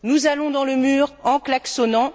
Nous allons dans le mur en klaxonnant.